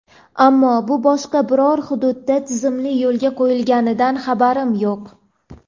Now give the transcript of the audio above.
Ammo bu hozircha boshqa biror hududda tizimli yo‘lga qo‘yilganidan xabarim yo‘q.